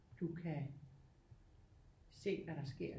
Du kan se hvad der sker